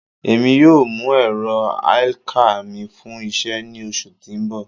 Emi yoo mu ẹrọ elcar mi fun iṣẹ ni oṣu ti n bọ